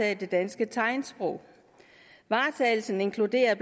af det danske tegnsprog varetagelsen inkluderer